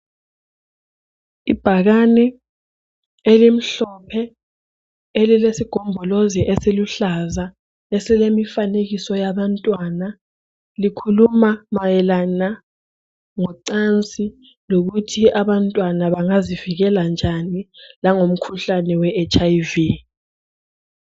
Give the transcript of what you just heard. Ibhakani elimhlophe elesigombolozi esiluhlaza esilemifanekiso yabantwana likhuluma mayelana ngocansi lokuthi abantwana bangazivikeka njalo lomkhuhlane we hiv